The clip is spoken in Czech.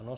Ano.